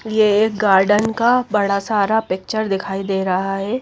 ये एक गार्डन का बड़ा सारा पिक्चर दिखाई दे रहा है।